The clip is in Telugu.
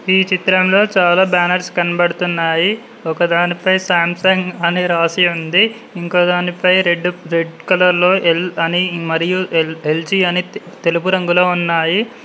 ఈ చిత్రంలో చాలా బ్యానర్స్ కనబడుతున్నాయి ఒకదానిపై శాంసంగ్ అని రాసి ఉంది ఇంకొదాని పై రెడ్ రెడ్ కలర్ లో ల్ అని ఎల్_జి అని తెలుపు రంగులో ఉన్నాయి.